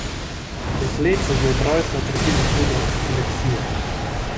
Dekletce že od rojstva trpi za hudo epilepsijo.